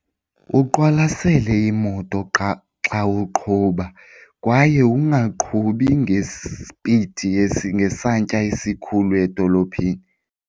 Uqwalasele imoto qha xa uqhuba kwaye ungaqhubi ngesipidi ngesantya esikhulu edolophini.